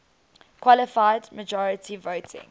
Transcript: qualified majority voting